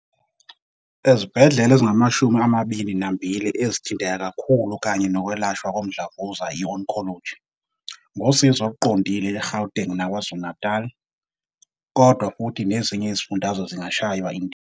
Ezibhedlela ezingama-22 ezithinteka kakhulu kanye nokwelashwa komdlavuza, i-oncology, ngosizo oluqondile eGauteng naKwaZulu-Natali, kodwa futhi nezinye izifundazwe zingashaywa indiva.